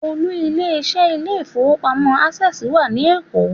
Olú ilé iṣẹ́ ilé ìfowópamọ́ Access wà ní Èkó.